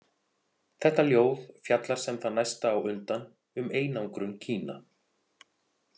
Þetta ljóð fjallar sem það næsta á undan um einangrun Kína.